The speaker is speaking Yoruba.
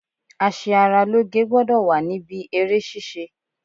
A ṣe ara lóge gbọ́dọ̀ wà níbí eré ṣíṣe.